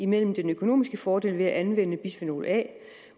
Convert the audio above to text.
mellem den økonomiske fordel ved at anvende bisfenol a